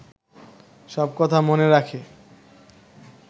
সব কথা মনে রাখে